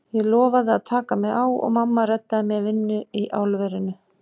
Ég lofaði að taka mig á og mamma reddaði mér vinnu í álverinu.